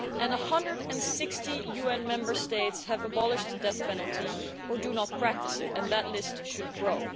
160 UN member states have abolished the death penalty or do not practise it, and that list should grow.